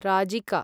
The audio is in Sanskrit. राजिका